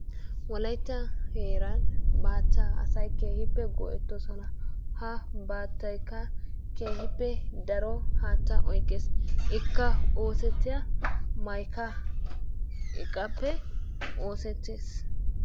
Wolaytta heeran bachchaa asay keehippe go'ettoosona. Ha baattaykka keehippe daro haattaa oyqqees. Ikka oosettiya maykka iqqaappe oosettees.